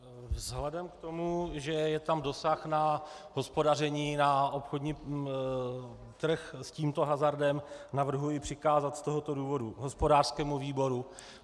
Vzhledem k tomu, že je tam dosah na hospodaření na obchodní trh s tímto hazardem, navrhuji přikázat z tohoto důvodu hospodářskému výboru.